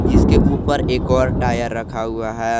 जिसके ऊपर एक और टायर रखा हुआ है।